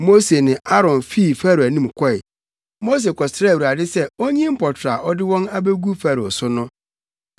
Mose ne Aaron fii Farao anim kɔe. Mose kɔsrɛɛ Awurade sɛ onyi mpɔtorɔ a ɔde wɔn abegu Farao so no.